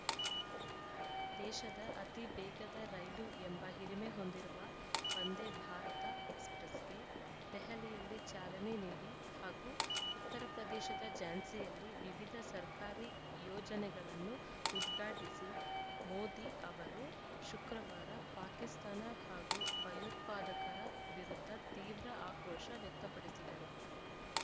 ದೇಶದ ಅತಿ ವೇಗದ ರೈಲು ಎಂಬ ಹಿರಿಮೆ ಹೊಂದಿರುವ ವಂದೇ ಭಾರತ ಎಕ್ಸ್‌ಪ್ರೆಸ್‌ಗೆ ದೆಹಲಿಯಲ್ಲಿ ಚಾಲನೆ ನೀಡಿ ಹಾಗೂ ಉತ್ತರಪ್ರದೇಶದ ಝಾನ್ಸಿಯಲ್ಲಿ ವಿವಿಧ ಸರ್ಕಾರಿ ಯೋಜನೆಗಳನ್ನು ಉದ್ಘಾಟಿಸಿ ಮೋದಿ ಅವರು ಶುಕ್ರವಾರ ಪಾಕಿಸ್ತಾನ ಹಾಗೂ ಭಯೋತ್ಪಾದಕರ ವಿರುದ್ಧ ತೀವ್ರ ಆಕ್ರೋಶ ವ್ಯಕ್ತಪಡಿಸಿದರು